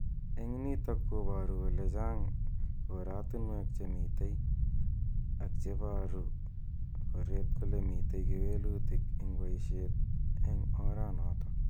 Eng nitok ko baru kole chan koratunwek che mitei ako me baru koret kole mitei kewelutik eng baishet eng ora notok.